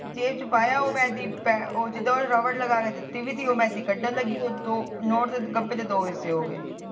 ਮੈ ਜੇਬ ਚ ਪਾਇਆ ਜਿਦਾ ਉਹਨੇ ਰਸਬੜ ਲਗਾ ਕੇ ਦਿੱਤੀ ਮੈ ਕੱਢਣ ਲੱਗੇ ਨੋਟ ਦੇ ਦੋ ਹਿਸੇ ਹੋਗੇ